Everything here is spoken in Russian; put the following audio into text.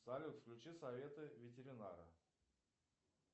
салют включи советы ветеринара